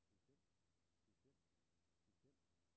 bestemt bestemt bestemt